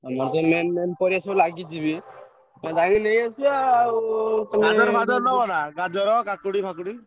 ଆମର ତ main main ପରିବା ତ ଲାଗିଛି ବି ଯାଇକି ନେଇଆସିବା ଆଉ ।